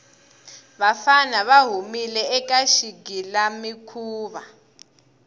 vafana va humile eka xigilamikhuva